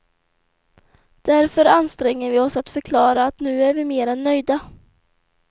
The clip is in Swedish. Därför anstränger vi oss att förklara att nu är vi mer än nöjda.